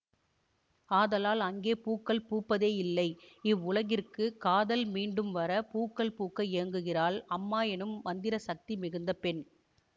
ஆதலால் அங்கே பூக்கள் பூப்பதே இல்லை இவ்வுலகிற்குக் காதல் மீண்டும் வர பூக்கள் பூக்க ஏங்குகிறாள் அம்மா எனும் மந்திர சக்தி மிகுந்த பெண்